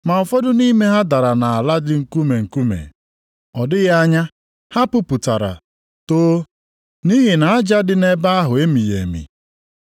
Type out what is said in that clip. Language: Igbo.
Ma ụfọdụ nʼime ha dara nʼala dị nkume nkume. Ọ dịghị anya ha puputara, too, nʼihi na aja dị nʼebe ahụ emighị emi.